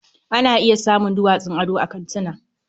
Ana iya samun duwatsun ado a kantina.